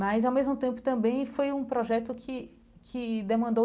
Mas, ao mesmo tempo também, foi um projeto que que demandou